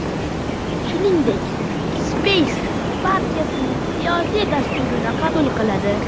Shuningdek, syezd partiyaning siyosiy dasturini qabul qiladi.